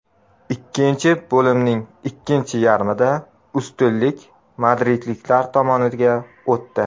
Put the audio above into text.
Ikkinchi bo‘limning ikkinchi yarmida ustunlik madridliklar tomoniga o‘tdi.